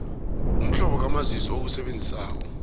umhlobo kamazisi owusebenzisako